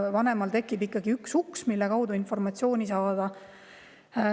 Vanemale tekib ikkagi üks, mille kaudu informatsiooni saab.